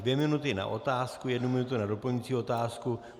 Dvě minuty na otázku, jednu minutu na doplňující otázku.